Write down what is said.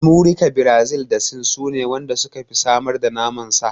Amurika, Birazil da Sin sune waɗan da suka fi samar da naman sa.